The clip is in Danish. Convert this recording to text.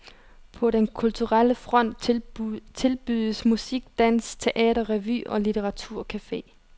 På den kulturelle front tilbydes musik, dans, teater, revy og litteraturcafe.